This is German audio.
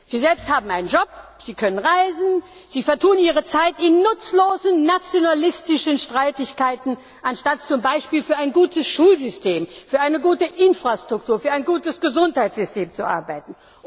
Sie selbst haben einen Job, sie können reisen, sie vertun ihre Zeit mit nutzlosen nationalistischen Streitigkeiten, anstatt zum Beispiel für ein gutes Schulsystem, für eine gute Infrastruktur, für ein gutes Gesundheitssystem zu arbeiten.